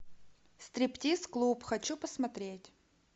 стриптиз клуб хочу посмотреть